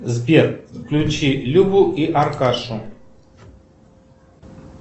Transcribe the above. сбер включи любу и аркашу